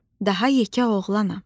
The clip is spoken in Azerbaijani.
Daha yekə oğlanam.